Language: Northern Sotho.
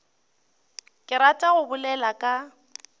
ke ratago go bolela ka